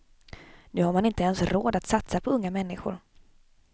Nu har man inte ens råd att satsa på unga människor.